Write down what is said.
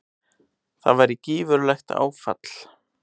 Það væri gífurlegt áfall.